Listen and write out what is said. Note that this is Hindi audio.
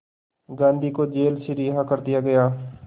गांधी को जेल से रिहा कर दिया गया